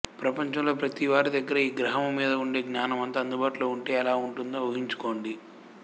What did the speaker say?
ప్రపంచము లో ప్రతీ వారి దగ్గరా ఈ గ్రహము మీద ఉండే జ్ఞానమంతా అందుబాటులో ఉంటే ఎలా ఉంటుందో ఊహించుకోండి